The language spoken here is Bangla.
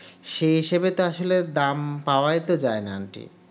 সেই হিসাবে আসলে তো দাম পাওয়াই তো যায় না aunty